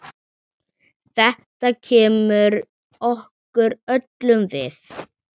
Þetta kemur okkur öllum við.